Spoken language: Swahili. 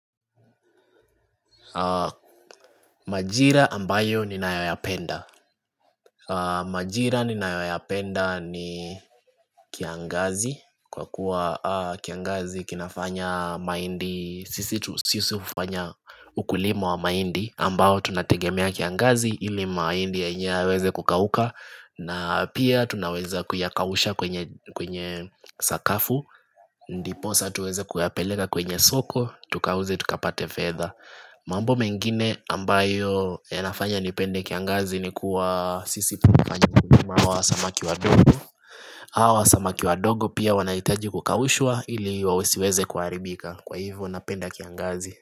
Majira ambayo ninayoyapenda Majira ninayoyapenda ni kiangazi Kwa kuwa kiangazi kinafanya maindi Sisi ufanya ukulima wa maindi ambao tunategemea kiangazi ili maindi yaenye weze kukauka na pia tunaweza kuyakawusha kwenye sakafu Ndiposa tuweze kuyapeleka kwenye soko Tukauze tukapate fetha mambo mengine ambayo yanafanya nipende kiangazi ni kuwa sisi punga njimu kuma wa samaki wadogo Hawa wa samaki wadogo pia wanahitaji kukaushwa ili wasiweze kuharibika Kwa hivyo napenda kiangazi.